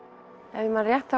ef ég man rétt